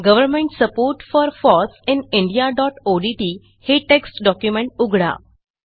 government support for foss in indiaओडीटी हे text document उघडा